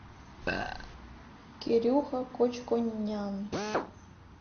кирюха кочконян